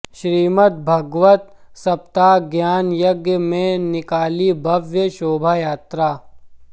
श्रीमद भागवत सप्ताह ज्ञान यज्ञ में निकाली भव्य शोभायात्रा